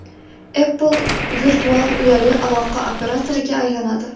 Apple virtual uyali aloqa operatoriga aylanadi .